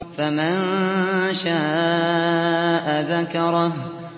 فَمَن شَاءَ ذَكَرَهُ